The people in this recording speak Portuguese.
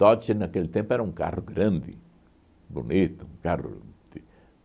Dodge naquele tempo era um carro grande, bonito. Um carro de